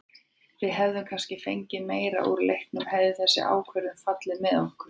Við hefðum kannski fengið meira úr leiknum hefði þessi ákvörðun fallið með okkur.